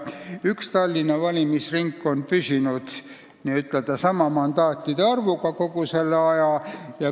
Kolmas Tallinna valimisringkond on püsinud sama mandaatide arvuga kogu selle aja.